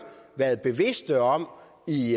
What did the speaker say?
været bevidst om i